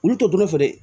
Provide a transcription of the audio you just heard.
Olu tɛ dun ne fɛ dɛ